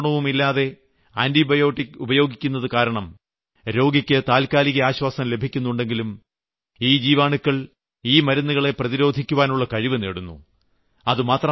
യാതൊരു നിയന്ത്രണവുമില്ലാതെ ആന്റിബയോട്ടിക് ഉപയോഗിക്കുന്നതുകാരണം രോഗിയ്ക്ക് താൽക്കാലിക ആശ്വാസം ലഭിക്കുന്നുണ്ടെങ്കിലും ഈ ജീവാണുക്കൾ ഈ മരുന്നുകളെ പ്രതിരോധിയ്ക്കുവാനുള്ള കഴിവു നേടുന്നു